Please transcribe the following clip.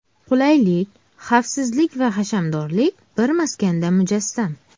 Qulaylik, xavfsizlik va hashamdorlik bir maskanda mujassam.